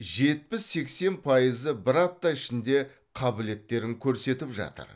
жетпіс сексен пайызы бір апта ішінде қабілеттерін көрсетіп жатыр